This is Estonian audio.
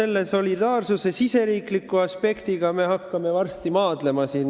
No solidaarsuse riigisisese aspekti kallal me hakkame siin varsti maadlema.